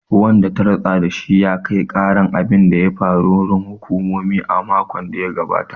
Wanda ta ritsa da shi ya kai karan abin da ya faru. wurin hukumomi a makon da ya gabata